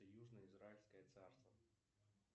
южно израильское царство